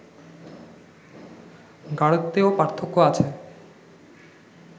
গাড়ত্বেও পার্থক্য আছে